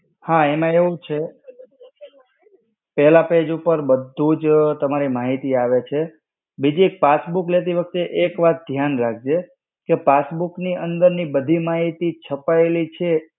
હા એમાં એવું છે, પેહલા page ઉપર બધું જ તમારી માહિતી આવે છે, બીજી એક passbook લેતી વખતે એક વાત ધ્યાન રાખજે, કે passbook ની અંદર ની બધી માહિતી છપાયેલી છે.